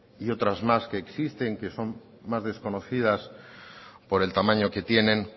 y otras más que existen que son más desconocidas por el tamaño que tienen